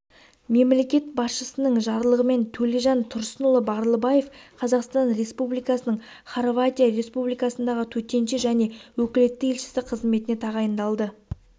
мемлекет басшысының жарлығымен төлежан тұрсынұлы барлыбаев қазақстан республикасының хорватия республикасындағы төтенше және өкілетті елшісі қызметіне тағайындалды